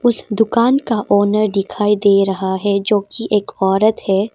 उस दुकान का ओनर दिखाई दे रहा है जो की एक औरत है।